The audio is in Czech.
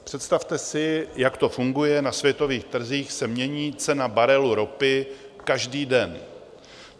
Představte si, jak to funguje, na světových trzích se mění cena barelu ropy každý den.